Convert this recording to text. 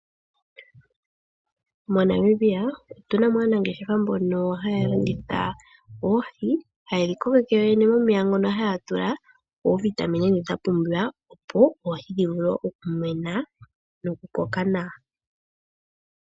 MoNamibia otu namo aanangeshefa mbono haya landitha oohi, haye dhikokeke yoye momeya ngono haya tula ooVitamine dhindha pumbiwa opo oohi dhivulu oku koka nawa.